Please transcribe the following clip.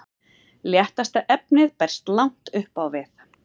léttasta efnið berst langt upp á við